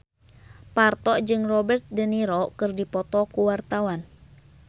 Parto jeung Robert de Niro keur dipoto ku wartawan